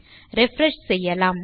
refresh செய்யலாம்